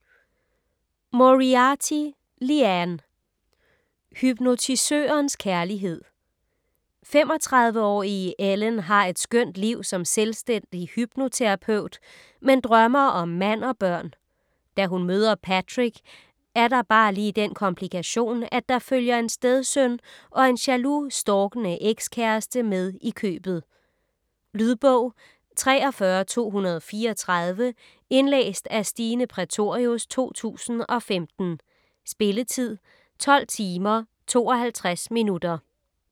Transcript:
Moriarty, Liane: Hypnotisørens kærlighed 35-årige Ellen har et skønt liv som selvstændig hypnoterapeut, men drømmer om mand og børn. Da hun møder Patrick er der bare lige den komplikation, at der følger en stedsøn og en jaloux, stalkende ekskæreste med i købet. Lydbog 43234 Indlæst af Stine Prætorius, 2015. Spilletid: 12 timer, 52 minutter.